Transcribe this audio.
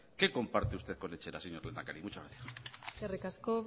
qué comparte usted con etxerat señor lehendakari muchas gracias eskerrik asko